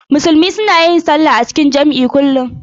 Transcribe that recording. Musulmai suna yin sallah a cikin jam'i kullum.